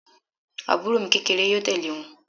Àbúrò mi kékeré yóò tẹ̀lé wọn